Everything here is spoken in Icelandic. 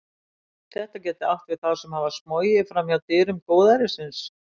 Þetta gæti átt við þá sem hafa smogið fram hjá dyrum góðærisins.